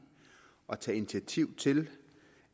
at tage initiativ til